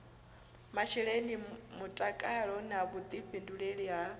masheleni mutakalo na vhuḓifhinduleli ha